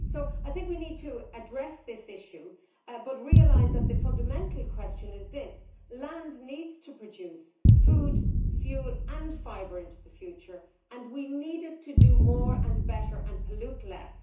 I think we need to address this issue, but to realise that the fundamental question is this land needs to produce food, fuel and fibre into the future and we need it to do more and better while polluting less.